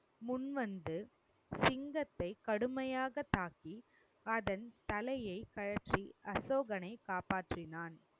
முன்வந்து சிங்கத்தை கடுமையாக தாக்கி அதன் தலையை கழற்றி அசோகனை காப்பாற்றினான்.